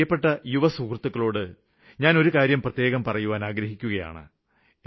എന്റെ പ്രിയപ്പെട്ട യുവസുഹൃത്തുക്കളോട് ഞാന് ഒരു കാര്യം പ്രത്യേകം പറയുവാന് ആഗ്രഹിക്കുകയാണ്